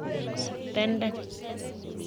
Tenden